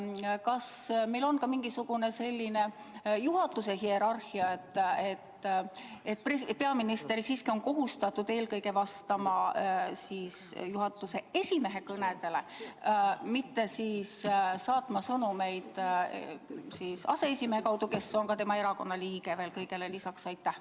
Kas meil on sätestatud ka mingisugune hierarhia, et peaminister siiski on kohustatud vastama Riigikogu esimehe kõnedele ega tohi piirduda sõnumite saatmisega aseesimehele, kes on kõigele lisaks tema erakonna liige?